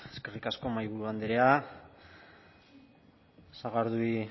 eskerrik asko mahaiburu andrea sagardui